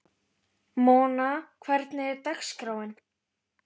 Mona, hvernig er dagskráin?